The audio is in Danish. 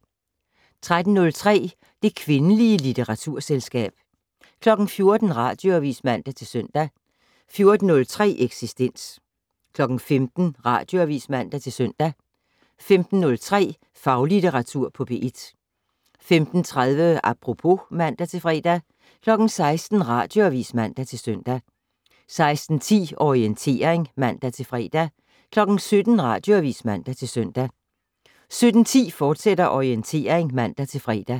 13:03: Det kvindelige litteraturselskab 14:00: Radioavis (man-søn) 14:03: Eksistens 15:00: Radioavis (man-søn) 15:03: Faglitteratur på P1 15:30: Apropos (man-fre) 16:00: Radioavis (man-søn) 16:10: Orientering (man-fre) 17:00: Radioavis (man-søn) 17:10: Orientering, fortsat (man-fre)